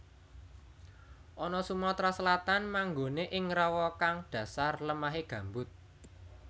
Ana Sumatera Selatan manggonè ing rawa kang dhasar lemahè gambut